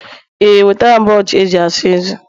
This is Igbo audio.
ee, enwetara m brọsh eze eji asa ezé